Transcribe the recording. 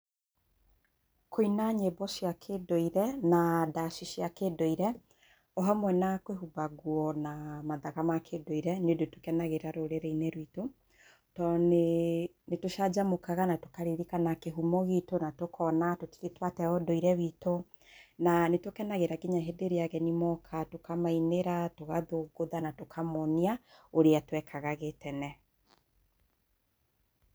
Kũina nyĩmbo cia kĩ-ndũire, na ndaci cia kĩ-ndũire o hamwe na kwĩhumba nguo na mathaga ma kĩ-ndũire nĩ ũndũ tũkenagĩrĩra rũrĩrĩ-inĩ rwitũ, tondũ nĩ, nĩ tũcanjamũkaga na tũkaririkana kĩhumo gitũ na tũkona tũtirĩ twate ũndũire witũ, na nĩ tũkenagĩrĩra nginya rĩrĩa ageni moka, tũkamainĩra, tũkathũngũtha na tũkamoonia ũrĩa twekaga gĩ-tene.